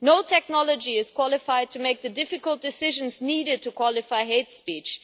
No technology is qualified to make the difficult decisions needed to define hate speech.